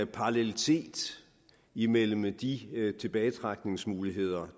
parallelitet imellem de tilbagetrækningsmuligheder